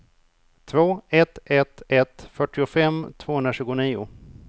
två ett ett ett fyrtiofem tvåhundratjugonio